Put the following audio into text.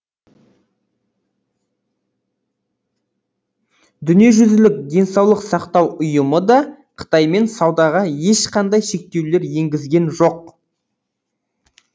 дүниежүзілік денсаулық сақтау ұйымы да қытаймен саудаға ешқандай шектеулер енгізген жоқ